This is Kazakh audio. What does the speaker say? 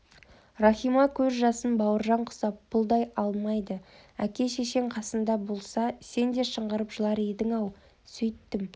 рахима көз жасын бауыржан құсап пұлдай алмайды әке-шешең қасыңда болса сен де шыңғырып жылар едің-ау сөйттім